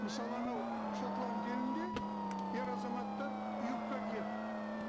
мысалы анау шотланд елінде ер азаматтар юбка киеді